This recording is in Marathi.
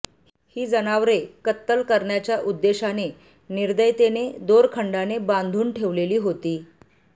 ही जनावरे कत्तर करण्याच्या उद्देशाने निर्दयतेने दोरखंडाने बांधून ठेवलेली होती